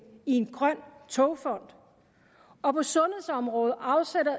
i en grøn togfond og på sundhedsområdet